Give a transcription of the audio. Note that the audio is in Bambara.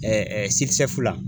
la